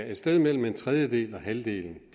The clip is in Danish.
et sted mellem en tredjedel og halvdelen af